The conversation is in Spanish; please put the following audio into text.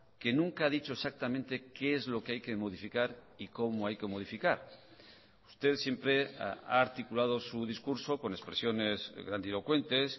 que nunca ha dicho exactamente qué es lo que hay que modificar y cómo hay que modificar usted siempre ha articulado su discurso con expresiones grandilocuentes